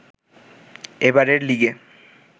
এবারের লিগে